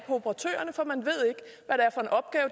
operatørerne for man